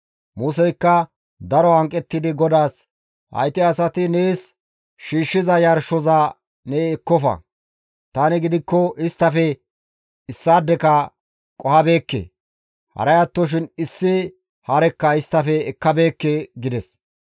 Museykka daro hanqettidi GODAAS, «Hayti asati nees shiishshiza yarshoza ne ekkofa; tani gidikko isttafe issaadeka qohabeekke; haray attoshin issi harekka isttafe ekkabeekke» gides.